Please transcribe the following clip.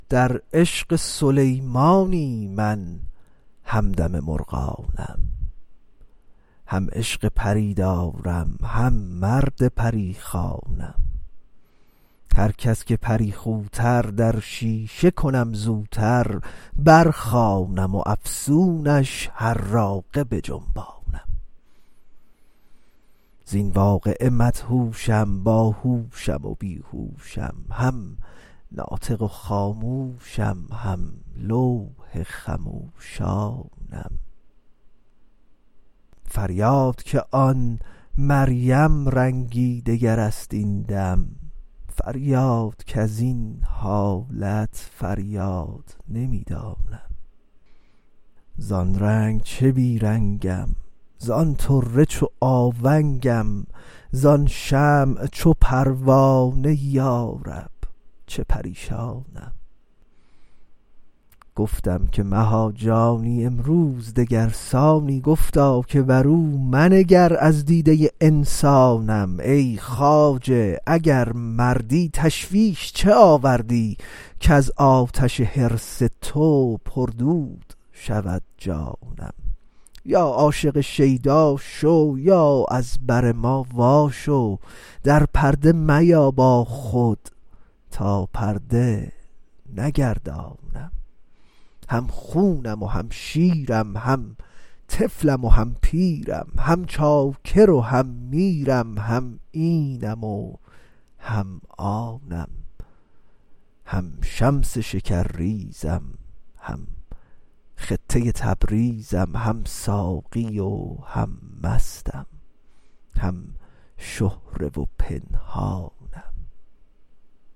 در عشق سلیمانی من همدم مرغانم هم عشق پری دارم هم مرد پری خوانم هر کس که پری خوتر در شیشه کنم زوتر برخوانم افسونش حراقه بجنبانم زین واقعه مدهوشم باهوشم و بی هوشم هم ناطق و خاموشم هم لوح خموشانم فریاد که آن مریم رنگی دگر است این دم فریاد کز این حالت فریاد نمی دانم زان رنگ چه بی رنگم زان طره چو آونگم زان شمع چو پروانه یا رب چه پریشانم گفتم که مها جانی امروز دگر سانی گفتا که برو منگر از دیده انسانم ای خواجه اگر مردی تشویش چه آوردی کز آتش حرص تو پردود شود جانم یا عاشق شیدا شو یا از بر ما واشو در پرده میا با خود تا پرده نگردانم هم خونم و هم شیرم هم طفلم و هم پیرم هم چاکر و هم میرم هم اینم و هم آنم هم شمس شکرریزم هم خطه تبریزم هم ساقی و هم مستم هم شهره و پنهانم